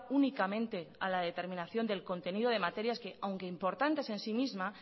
únicamente a la determinación del contenido de materias que aunque importantes en sí misma